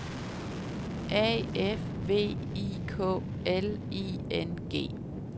A F V I K L I N G